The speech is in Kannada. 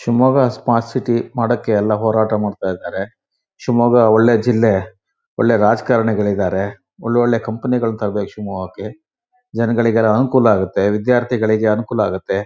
ಶಿಮೊಗ್ಗ ಸ್ಮಾರ್ಟ್ ಸಿಟಿ ಮಾಡ್ಲಿಕ್ಕೆ ಎಲ್ಲ ಹೋರಾಟ ಮಾಡ್ತಾ ಇದ್ದಾರೆ ಶಿಮೊಗ್ಗ ಒಳ್ಳೆ ಜಿಲ್ಲೆ ಒಳ್ಳೆ ರಾಜಕಾರಣಿ ಗಳಿದಾರೆ ಒಳ್ಳೊಳ್ಳೆ ಕಂಪನಿ ಗಳನ್ ತರ್ಬೆಕ್ ಶಿವಮೊಶಿಮೊಗ್ಗಕ್ಕೆ ಜನಗಳಿಗೆ ಎಲ್ಲ ಅನುಕೂಲ ಆಗುತ್ತೆ ವಿದ್ಯಾರ್ಥಿ ಗಳಿಗೆ ಅನುಕೂಲ ಆಗುತೆ.